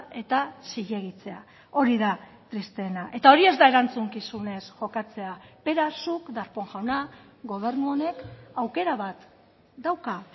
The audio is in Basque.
eta zilegitzea hori da tristeena eta hori ez da erantzukizunez jokatzea beraz zuk darpón jauna gobernu honek aukera bat dauka